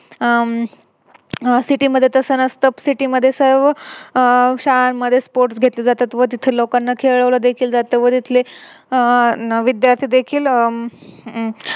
हम्म City मध्ये तस नसत. City मध्ये सर्व शाळांमध्ये अह Sports घेतले जातात व लोकांना खेळवल देखील जात व तिथले अह विद्यार्थी देखील